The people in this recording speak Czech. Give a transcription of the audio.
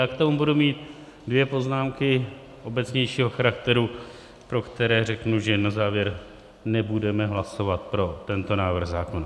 Ale k tomu budu mít dvě poznámky obecnějšího charakteru, pro které řeknu, že na závěr nebudeme hlasovat pro tento návrh zákona.